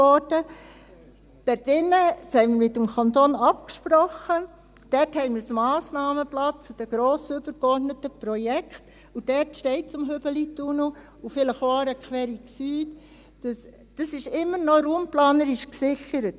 Darin – das haben wir mit dem Kanton abgesprochen – gibt es ein Massnahmenblatt zu den grossen, übergeordneten Projekten, und dort steht zum Hübelitunnel und vielleicht auch zur Aarequerung Süd … das ist immer noch raumplanerisch gesichert.